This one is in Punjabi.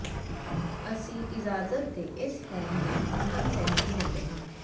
ਅਸੀਂ ਇਜਾਜ਼ਤ ਦੇ ਇਸ ਫ਼ਾਰਮ ਨੂੰ ਅੰਤਮ ਸਹਿਮਤੀ ਦਿੰਦੇ ਹਾਂ